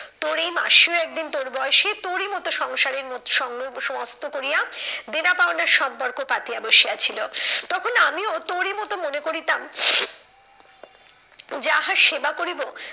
তোর এই মাসিও একদিন তোর বয়সে তোরই মতো সংসারের সমস্ত করিয়া, দেনা পাওনার সম্পর্ক পাতিয়া বসিয়াছিল। তখন আমিও তোরই মতো মনে করিতাম যাহার সেবা করিবো,